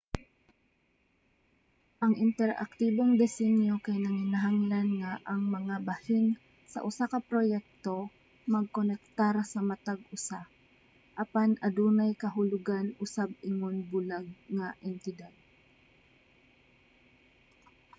ang interaktibong desinyo kay nanginahanglan nga ang mga bahin sa usa ka proyekto magkonektar sa matag usa apan adunay kahulugan usab ingon bulag nga entidad